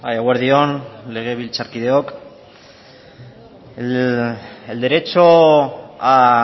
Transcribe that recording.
eguerdi on legebiltzarkideok el derecho a